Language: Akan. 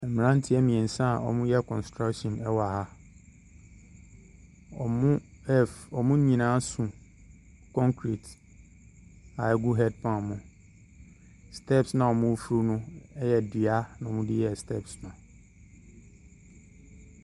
Mmeranteɛ mmeɛnsa a wɔreyɛ construction wɔ ha. Wɔref . Wɔn nyinaa so concrete a ɛgu headpan mu. Steps no a wɔreforo no yɛ dua na wɔde yɛɛ steps no.